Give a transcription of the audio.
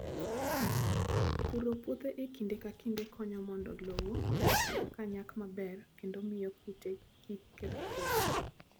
Puro puothe e kinde ka kinde konyo mondo lowo osik ka nyak maber kendo miyo kute kik keth puothe.